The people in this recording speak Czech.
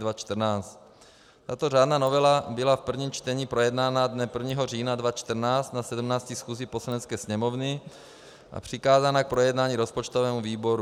Tato řádná novela byla v prvním čtení projednána dne 1. října 2014 na 17. schůzi Poslanecké sněmovny a přikázána k projednání rozpočtovému výboru.